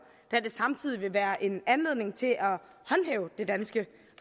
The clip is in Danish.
da det samtidig vil være en anledning til at håndhæve det danske